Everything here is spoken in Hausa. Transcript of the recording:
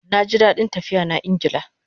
Naji dadin tafiya na Ingla